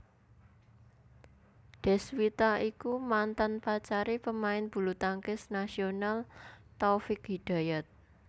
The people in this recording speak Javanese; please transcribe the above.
Deswita iku mantan pacare pemain bulutangkis nasional Taufik Hidayat